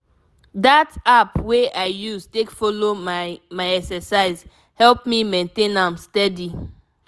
that app wey i use take follow my my exercise help me maintain am steady.